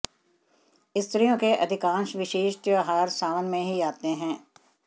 स्त्रियों के अधिकांश विशेष त्योहार सावन में ही आते हैं